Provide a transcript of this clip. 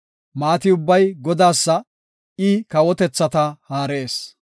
Maati ubbay Godaasa; I kawotethata haarees.